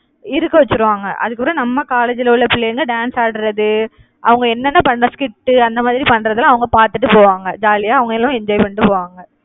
இருக்க வச்சிருவாங்க. அதுக்கப்புறம் நம்ம college ல உள்ள பிள்ளைங்க dance ஆடுறது அவங்க என்னன்னா பண்ற skit அந்த மாதிரி பண்றதெல்லாம் அவங்க பாத்துட்டு போவாங்க. jolly யா அவங்களும் enjoy பண்ணிட்டு போவாங்க